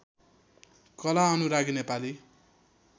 कला अनुरागी नेपाली